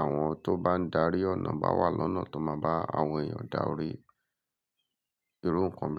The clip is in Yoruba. àwọn tó bá ń darí ọ̀nà bá wà lọ́nà tó máa bá àwọn èèyàn dárí irú nǹkan bẹ́ẹ̀